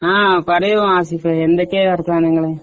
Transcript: ആഹ് പറയു ആസിഫെ എന്തൊക്കെ വർത്താനങ്ങള്